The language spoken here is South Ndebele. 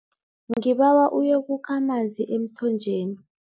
Ngibawa uyokukha amanzi emthonjeni.